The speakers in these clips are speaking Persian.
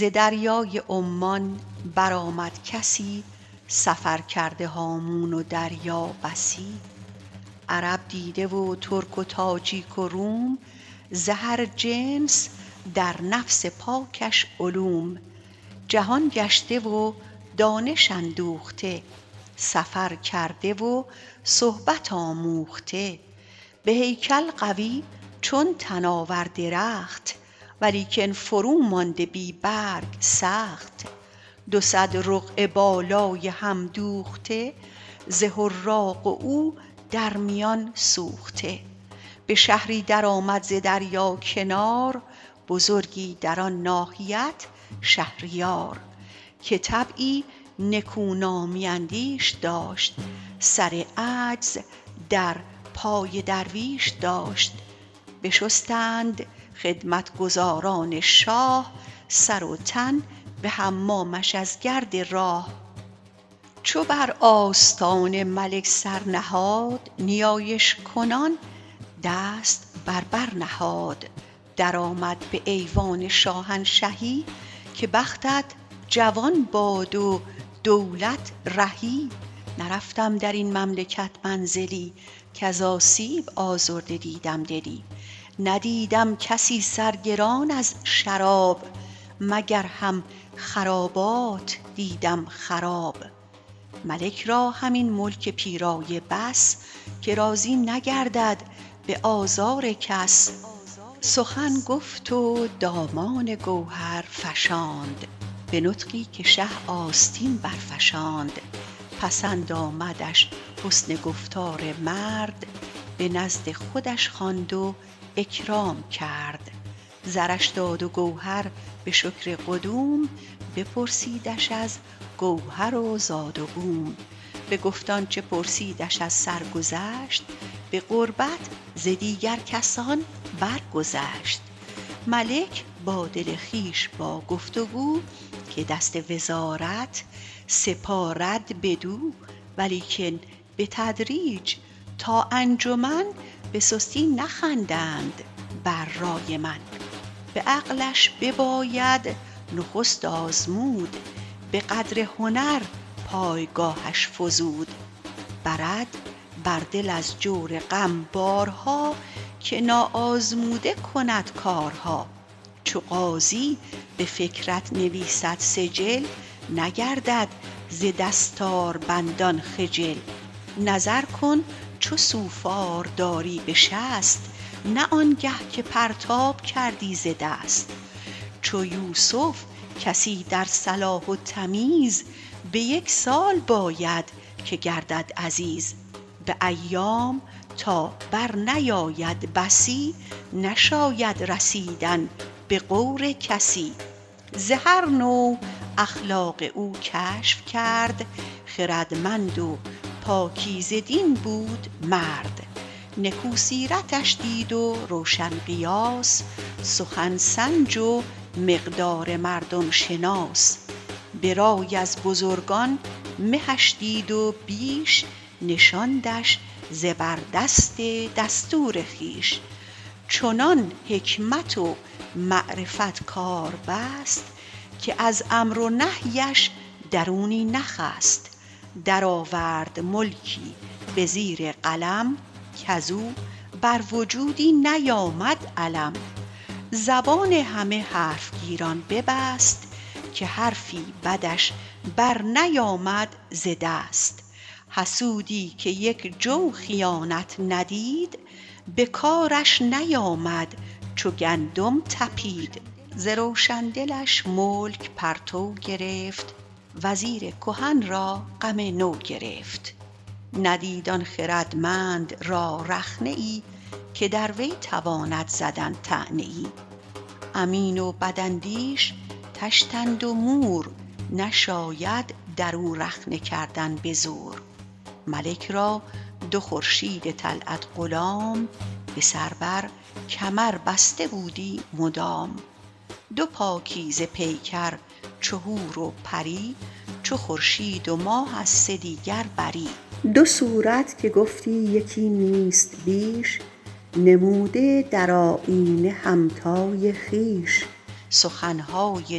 ز دریای عمان برآمد کسی سفر کرده هامون و دریا بسی عرب دیده و ترک و تاجیک و روم ز هر جنس در نفس پاکش علوم جهان گشته و دانش اندوخته سفر کرده و صحبت آموخته به هیکل قوی چون تناور درخت ولیکن فرو مانده بی برگ سخت دو صد رقعه بالای هم دوخته ز حراق و او در میان سوخته به شهری در آمد ز دریا کنار بزرگی در آن ناحیت شهریار که طبعی نکونامی اندیش داشت سر عجز در پای درویش داشت بشستند خدمتگزاران شاه سر و تن به حمامش از گرد راه چو بر آستان ملک سر نهاد نیایش کنان دست بر بر نهاد درآمد به ایوان شاهنشهی که بختت جوان باد و دولت رهی نرفتم در این مملکت منزلی کز آسیب آزرده دیدم دلی ندیدم کسی سرگران از شراب مگر هم خرابات دیدم خراب ملک را همین ملک پیرایه بس که راضی نگردد به آزار کس سخن گفت و دامان گوهر فشاند به نطقی که شه آستین برفشاند پسند آمدش حسن گفتار مرد به نزد خودش خواند و اکرام کرد زرش داد و گوهر به شکر قدوم بپرسیدش از گوهر و زاد و بوم بگفت آنچه پرسیدش از سرگذشت به قربت ز دیگر کسان بر گذشت ملک با دل خویش با گفت و گو که دست وزارت سپارد بدو ولیکن بتدریج تا انجمن به سستی نخندند بر رای من به عقلش بباید نخست آزمود به قدر هنر پایگاهش فزود برد بر دل از جور غم بارها که نا آزموده کند کارها چو قاضی به فکرت نویسد سجل نگردد ز دستاربندان خجل نظر کن چو سوفار داری به شست نه آنگه که پرتاب کردی ز دست چو یوسف کسی در صلاح و تمیز به یک سال باید که گردد عزیز به ایام تا بر نیاید بسی نشاید رسیدن به غور کسی ز هر نوع اخلاق او کشف کرد خردمند و پاکیزه دین بود مرد نکو سیرتش دید و روشن قیاس سخن سنج و مقدار مردم شناس به رای از بزرگان مهش دید و بیش نشاندش زبردست دستور خویش چنان حکمت و معرفت کار بست که از امر و نهیش درونی نخست در آورد ملکی به زیر قلم کز او بر وجودی نیامد الم زبان همه حرف گیران ببست که حرفی بدش بر نیامد ز دست حسودی که یک جو خیانت ندید به کارش نیامد چو گندم تپید ز روشن دلش ملک پرتو گرفت وزیر کهن را غم نو گرفت ندید آن خردمند را رخنه ای که در وی تواند زدن طعنه ای امین و بد اندیش طشتند و مور نشاید در او رخنه کردن به زور ملک را دو خورشید طلعت غلام به سر بر کمر بسته بودی مدام دو پاکیزه پیکر چو حور و پری چو خورشید و ماه از سدیگر بری دو صورت که گفتی یکی نیست بیش نموده در آیینه همتای خویش سخنهای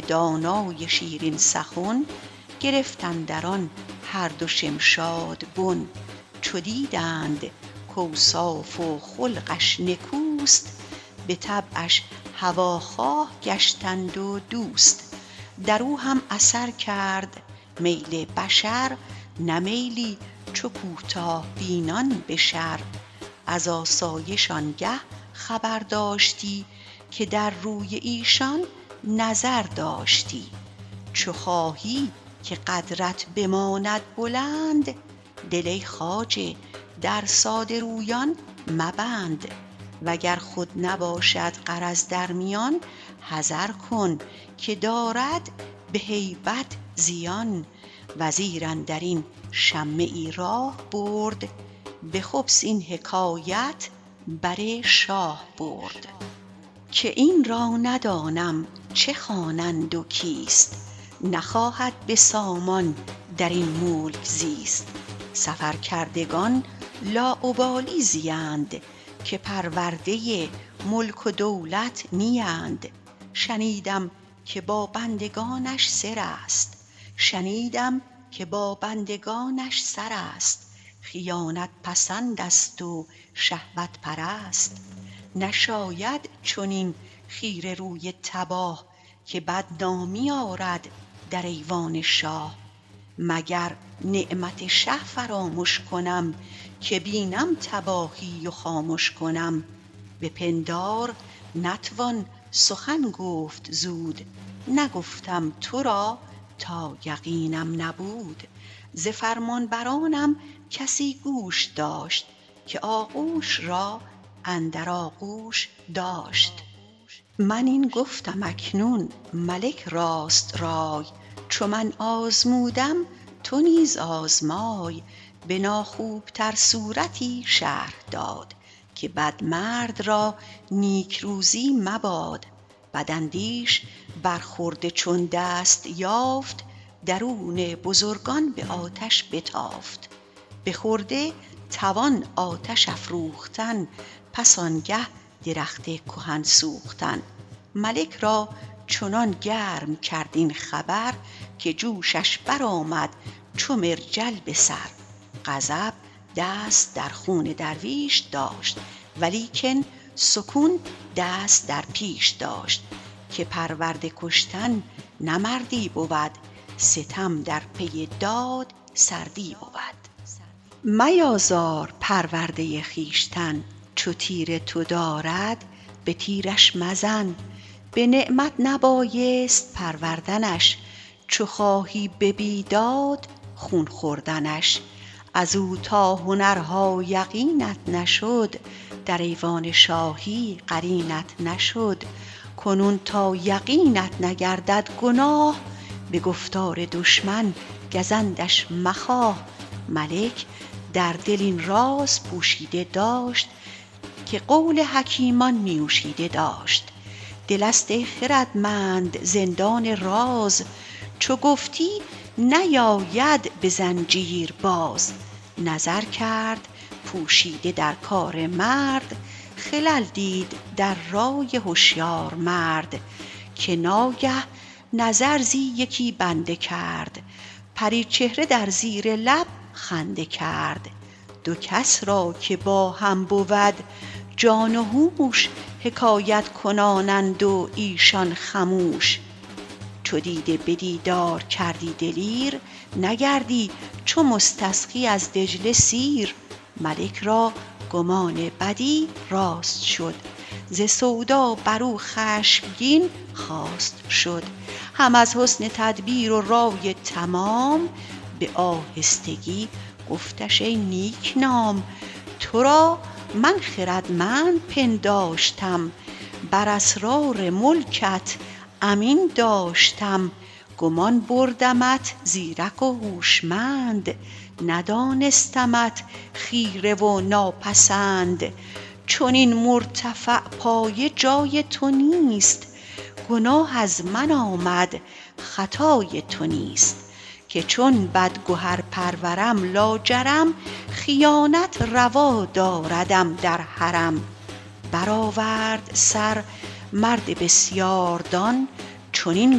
دانای شیرین سخن گرفت اندر آن هر دو شمشاد بن چو دیدند کاوصاف و خلقش نکوست به طبعش هواخواه گشتند و دوست در او هم اثر کرد میل بشر نه میلی چو کوتاه بینان به شر از آسایش آنگه خبر داشتی که در روی ایشان نظر داشتی چو خواهی که قدرت بماند بلند دل ای خواجه در ساده رویان مبند وگر خود نباشد غرض در میان حذر کن که دارد به هیبت زیان وزیر اندر این شمه ای راه برد به خبث این حکایت بر شاه برد که این را ندانم چه خوانند و کیست نخواهد به سامان در این ملک زیست سفر کردگان لاابالی زیند که پرورده ملک و دولت نیند شنیدم که با بندگانش سر است خیانت پسند است و شهوت پرست نشاید چنین خیره روی تباه که بد نامی آرد در ایوان شاه مگر نعمت شه فرامش کنم که بینم تباهی و خامش کنم به پندار نتوان سخن گفت زود نگفتم تو را تا یقینم نبود ز فرمانبرانم کسی گوش داشت که آغوش را اندر آغوش داشت من این گفتم اکنون ملک راست رای چو من آزمودم تو نیز آزمای به ناخوب تر صورتی شرح داد که بد مرد را نیکروزی مباد بداندیش بر خرده چون دست یافت درون بزرگان به آتش بتافت به خرده توان آتش افروختن پس آنگه درخت کهن سوختن ملک را چنان گرم کرد این خبر که جوشش برآمد چو مرجل به سر غضب دست در خون درویش داشت ولیکن سکون دست در پیش داشت که پرورده کشتن نه مردی بود ستم در پی داد سردی بود میازار پرورده خویشتن چو تیر تو دارد به تیرش مزن به نعمت نبایست پروردنش چو خواهی به بیداد خون خوردنش از او تا هنرها یقینت نشد در ایوان شاهی قرینت نشد کنون تا یقینت نگردد گناه به گفتار دشمن گزندش مخواه ملک در دل این راز پوشیده داشت که قول حکیمان نیوشیده داشت دل است ای خردمند زندان راز چو گفتی نیاید به زنجیر باز نظر کرد پوشیده در کار مرد خلل دید در رای هشیار مرد که ناگه نظر زی یکی بنده کرد پری چهره در زیر لب خنده کرد دو کس را که با هم بود جان و هوش حکایت کنانند و ایشان خموش چو دیده به دیدار کردی دلیر نگردی چو مستسقی از دجله سیر ملک را گمان بدی راست شد ز سودا بر او خشمگین خواست شد هم از حسن تدبیر و رای تمام به آهستگی گفتش ای نیک نام تو را من خردمند پنداشتم بر اسرار ملکت امین داشتم گمان بردمت زیرک و هوشمند ندانستمت خیره و ناپسند چنین مرتفع پایه جای تو نیست گناه از من آمد خطای تو نیست که چون بدگهر پرورم لاجرم خیانت روا داردم در حرم برآورد سر مرد بسیاردان چنین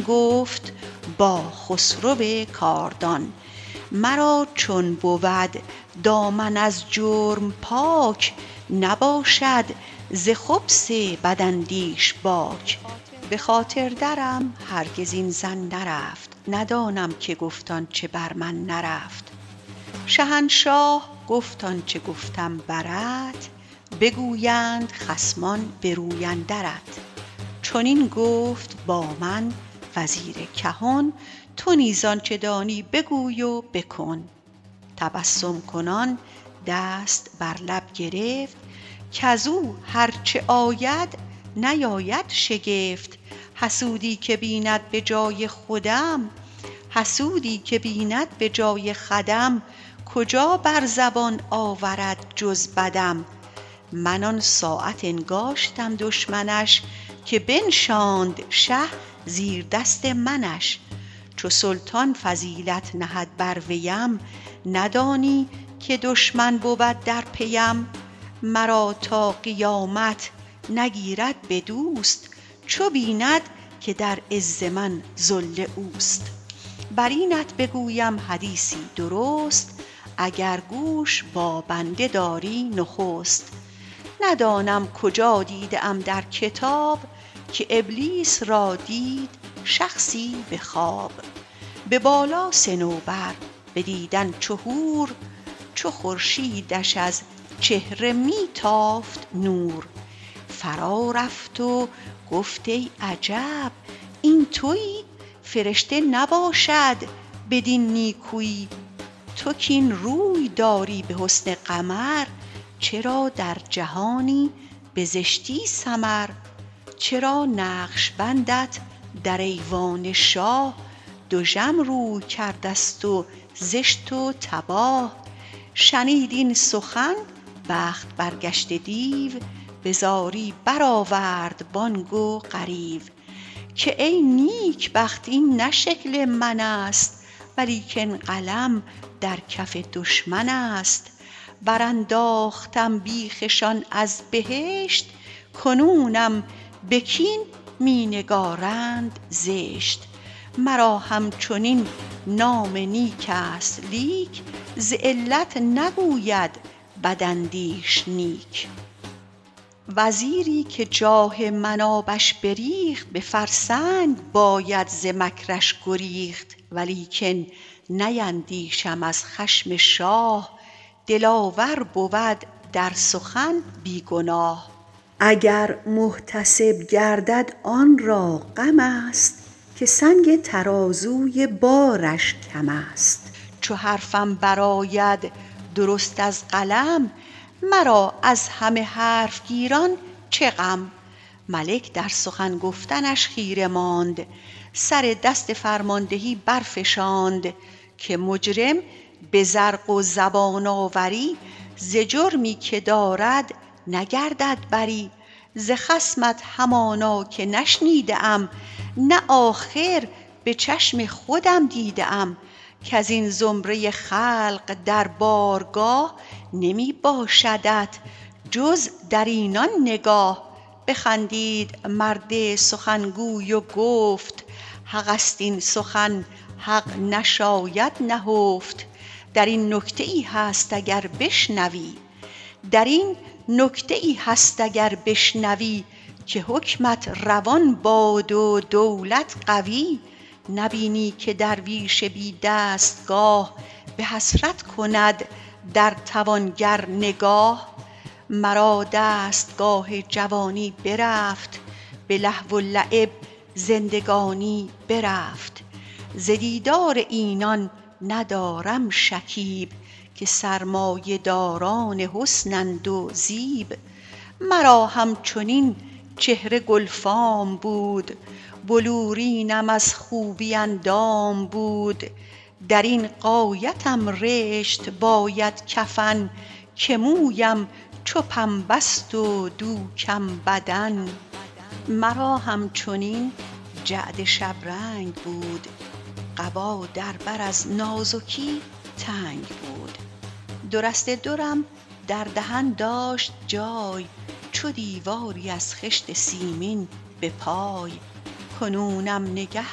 گفت با خسرو کاردان مرا چون بود دامن از جرم پاک نباشد ز خبث بداندیش باک به خاطر درم هرگز این ظن نرفت ندانم که گفت آنچه بر من نرفت شهنشاه گفت آنچه گفتم برت بگویند خصمان به روی اندرت چنین گفت با من وزیر کهن تو نیز آنچه دانی بگوی و بکن تسبم کنان دست بر لب گرفت کز او هر چه آید نیاید شگفت حسودی که بیند به جای خودم کجا بر زبان آورد جز بدم من آن ساعت انگاشتم دشمنش که بنشاند شه زیردست منش چو سلطان فضیلت نهد بر ویم ندانی که دشمن بود در پیم مرا تا قیامت نگیرد به دوست چو بیند که در عز من ذل اوست بر اینت بگویم حدیثی درست اگر گوش با بنده داری نخست ندانم کجا دیده ام در کتاب که ابلیس را دید شخصی به خواب به بالا صنوبر به دیدن چو حور چو خورشیدش از چهره می تافت نور فرا رفت و گفت ای عجب این تویی فرشته نباشد بدین نیکویی تو کاین روی داری به حسن قمر چرا در جهانی به زشتی سمر چرا نقش بندت در ایوان شاه دژم روی کرده ست و زشت و تباه شنید این سخن بخت برگشته دیو به زاری برآورد بانگ و غریو که ای نیکبخت این نه شکل من است ولیکن قلم در کف دشمن است مرا همچنین نام نیک است لیک ز علت نگوید بداندیش نیک وزیری که جاه من آبش بریخت به فرسنگ باید ز مکرش گریخت ولیکن نیندیشم از خشم شاه دلاور بود در سخن بی گناه اگر محتسب گردد آن را غم است که سنگ ترازوی بارش کم است چو حرفم برآید درست از قلم مرا از همه حرف گیران چه غم ملک در سخن گفتنش خیره ماند سر دست فرماندهی برفشاند که مجرم به زرق و زبان آوری ز جرمی که دارد نگردد بری ز خصمت همانا که نشنیده ام نه آخر به چشم خودم دیده ام کز این زمره خلق در بارگاه نمی باشدت جز در اینان نگاه بخندید مرد سخنگوی و گفت حق است این سخن حق نشاید نهفت در این نکته ای هست اگر بشنوی که حکمت روان باد و دولت قوی نبینی که درویش بی دستگاه به حسرت کند در توانگر نگاه مرا دستگاه جوانی برفت به لهو و لعب زندگانی برفت ز دیدار اینان ندارم شکیب که سرمایه داران حسنند و زیب مرا همچنین چهره گلفام بود بلورینم از خوبی اندام بود در این غایتم رشت باید کفن که مویم چو پنبه ست و دوکم بدن مرا همچنین جعد شبرنگ بود قبا در بر از نازکی تنگ بود دو رشته درم در دهن داشت جای چو دیواری از خشت سیمین به پای کنونم نگه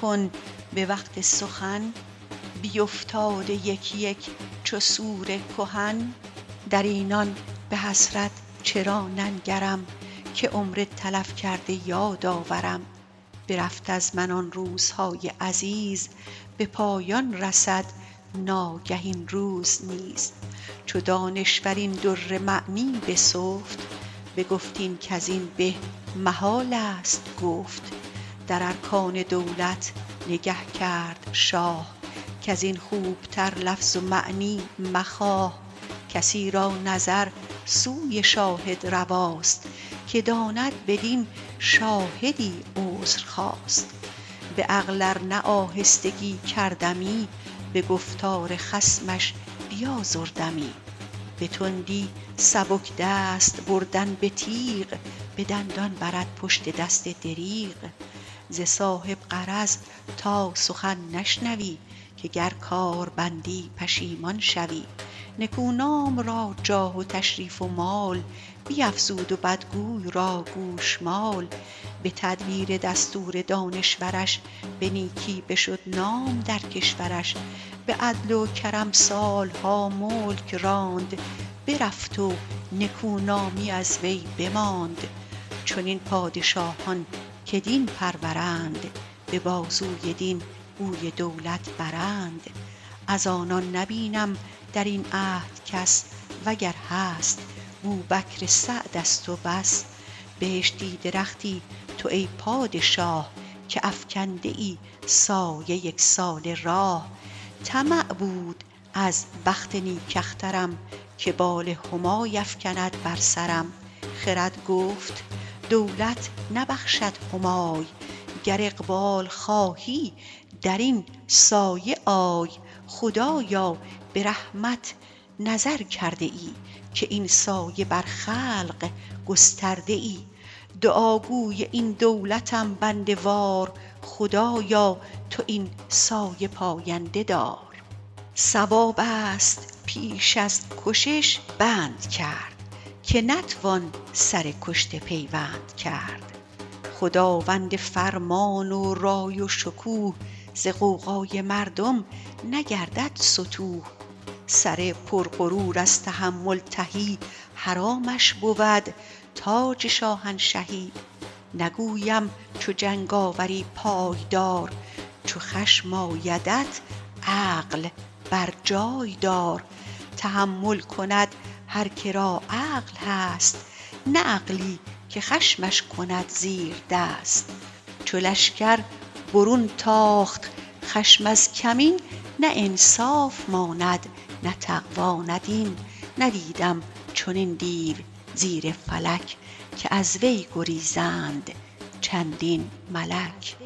کن به وقت سخن بیفتاده یک یک چو سور کهن در اینان به حسرت چرا ننگرم که عمر تلف کرده یاد آورم برفت از من آن روزهای عزیز به پایان رسد ناگه این روز نیز چو دانشور این در معنی بسفت بگفت این کز این به محال است گفت در ارکان دولت نگه کرد شاه کز این خوبتر لفظ و معنی مخواه کسی را نظر سوی شاهد رواست که داند بدین شاهدی عذر خواست به عقل ار نه آهستگی کردمی به گفتار خصمش بیازردمی به تندی سبک دست بردن به تیغ به دندان برد پشت دست دریغ ز صاحب غرض تا سخن نشنوی که گر کار بندی پشیمان شوی نکونام را جاه و تشریف و مال بیفزود و بدگوی را گوشمال به تدبیر دستور دانشورش به نیکی بشد نام در کشورش به عدل و کرم سالها ملک راند برفت و نکونامی از وی بماند چنین پادشاهان که دین پرورند به بازوی دین گوی دولت برند از آنان نبینم در این عهد کس وگر هست بوبکر سعد است و بس بهشتی درختی تو ای پادشاه که افکنده ای سایه یک ساله راه طمع بود از بخت نیک اخترم که بال همای افکند بر سرم خرد گفت دولت نبخشد همای گر اقبال خواهی در این سایه آی خدایا به رحمت نظر کرده ای که این سایه بر خلق گسترده ای دعا گوی این دولتم بنده وار خدایا تو این سایه پاینده دار صواب است پیش از کشش بند کرد که نتوان سر کشته پیوند کرد خداوند فرمان و رای و شکوه ز غوغای مردم نگردد ستوه سر پر غرور از تحمل تهی حرامش بود تاج شاهنشهی نگویم چو جنگ آوری پای دار چو خشم آیدت عقل بر جای دار تحمل کند هر که را عقل هست نه عقلی که خشمش کند زیردست چو لشکر برون تاخت خشم از کمین نه انصاف ماند نه تقوی نه دین ندیدم چنین دیو زیر فلک که از وی گریزند چندین ملک